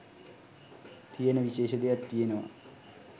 තියෙන විශේෂ දෙයක් තියෙනවා.